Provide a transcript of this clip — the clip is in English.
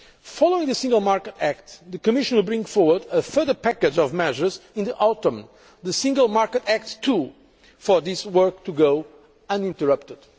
Following the Single Market Act the Commission will bring forward a further package of measures in the autumn, the Single Market Act II, so that this work can continue uninterrupted.